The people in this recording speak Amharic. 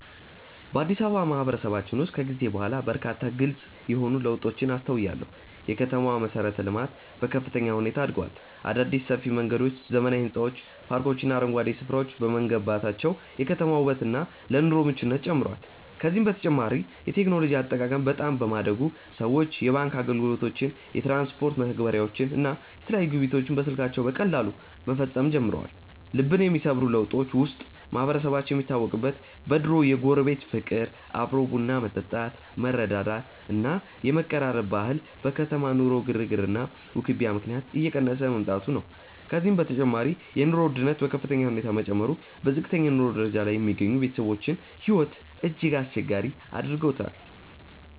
በአዲስ አበባ ማህበረሰባችን ውስጥ ከጊዜ በኋላ በርካታ ግልጽ የሆኑ ለውጦችን አስተውያለሁ። የከተማዋ መሠረተ-ልማት በከፍተኛ ሁኔታ አድጓል። አዳዲስ ሰፊ መንገዶች፣ ዘመናዊ ሕንፃዎች፣ ፓርኮችና አረንጓዴ ስፍራዎች በመገንባታቸው የከተማዋ ውበትና ለኑሮ ምቹነቷ ጨምሯል። ከዚህም በተጨማሪ የቴክኖሎጂ አጠቃቀም በጣም በማደጉ ሰዎች የባንክ አገልግሎቶችን፣ የትራንስፖርት መተግበሪያዎችን እና የተለያዩ ግብይቶችን በስልካቸው በቀላሉ መፈጸም ጀምረዋል። ልብን የሚሰብሩ ለውጦች ውስጥ ማህበረሰባችን የሚታወቅበት የድሮው የጎረቤት ፍቅር፣ አብሮ ቡና መጠጣት፣ መረዳዳት እና የመቀራረብ ባህል በከተማ ኑሮ ግርግርና ውክቢያ ምክንያት እየቀነሰ መምጣቱ ነው። ከዚህም በተጨማሪ የኑሮ ውድነቱ በከፍተኛ ሁኔታ መጨመሩ በዝቅተኛ የኑሮ ደረጃ ላይ የሚገኙ ቤተሰቦችን ሕይወት እጅግ አስቸጋሪ አድርጎታል።